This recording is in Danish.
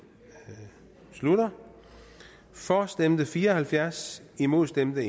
slutter for stemte fire og halvfjerds imod stemte